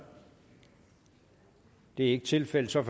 det er ikke tilfældet og så er